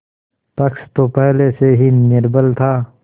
पक्ष तो पहले से ही निर्बल था